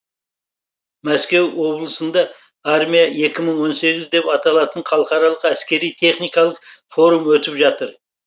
мәскеу облысында армия екі мың он сегіз деп аталатын халықаралық әскери техникалық форум өтіп жатыр